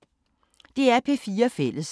DR P4 Fælles